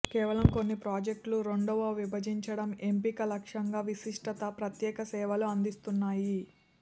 కేవలం కొన్ని ప్రాజెక్టులు రెండవ విభజించటం ఎంపిక లక్ష్యంగా విశిష్టత ప్రత్యేక సేవలు అందిస్తున్నాయి